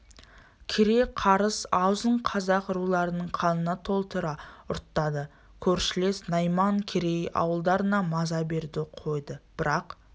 кере қарыс аузын қазақ руларының қанына толтыра ұрттады көршілес найман керей ауылдарына маза беруді қойды бірақ